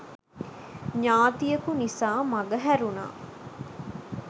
ඥාතියකු නිසා මඟ හැරුණා.